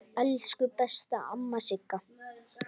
Elsku besta amma Sigga.